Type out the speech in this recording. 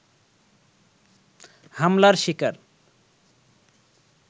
হামলার শিকার